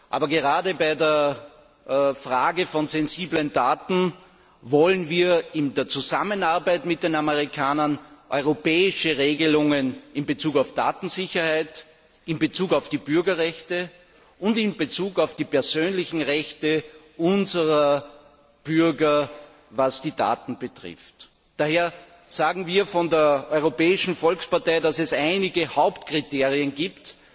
Aber gerade in der Frage sensibler Daten wollen wir in Zusammenarbeit mit den Amerikanern europäische Regelungen in Bezug auf die Datensicherheit, die Bürgerrechte und die persönlichen Rechte unserer Bürger, was die Daten betrifft. Daher fordern wir von der Europäischen Volkspartei, dass es einige Hauptkriterien gibt,